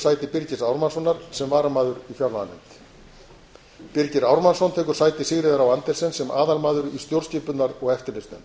sæti birgis ármannssonar sem varamaður í fjárlaganefnd birgir ármannsson tekur sæti sigríðar á andersen sem aðalmaður í stjórnskipunar og eftirlitsnefnd